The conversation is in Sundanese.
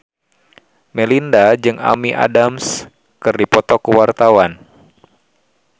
Melinda jeung Amy Adams keur dipoto ku wartawan